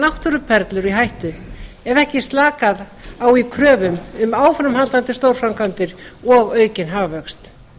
náttúruperlur í hættu ef ekki er slakað á í kröfum um áframhaldandi stórframkvæmdir og aukinn hagvöxt